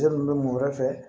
bɛ mun wɛrɛ fɛ